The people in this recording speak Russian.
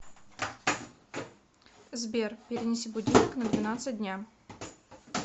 сбер перенеси будильник на двенадцать дня